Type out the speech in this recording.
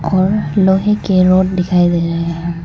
और लोहे के रॉड दिखाइए दे रहे हैं।